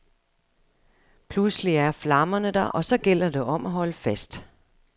Pludselig er flammerne der, og så gælder det om holde fast.